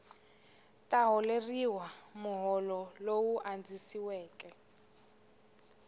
ta holeriwa muholo lowu andzisiweke